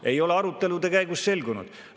See ei ole arutelude käigus selgunud.